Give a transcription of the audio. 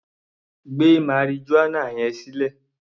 Gbé marijuana yẹn sílẹ̀!